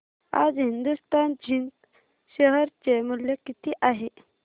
आज Hindustan zinc share चे मूल्य किती आहे